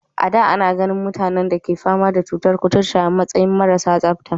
A da, ana ganin mutanen da ke fama da cutar kuturta a matsayin marasa tsabta.